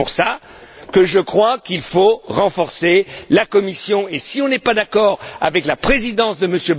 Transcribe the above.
C'est pourquoi je crois qu'il faut renforcer la Commission et que, si on n'est pas d'accord avec la présidence de M.